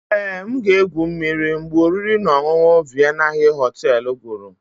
Ee, M ga-egwu mmiri mgbe oriri na ọṅụṅụ Vienna hill hotel guru.